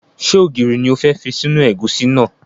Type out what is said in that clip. Ṣé ògiri ni o fẹ́ fi sínú ẹ̀gúsí náà?